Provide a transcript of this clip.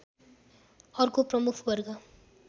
अर्को प्रमुख वर्ग